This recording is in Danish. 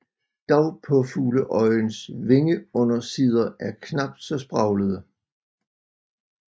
Dagpåfugleøjens vingeundersider er knapt så spraglede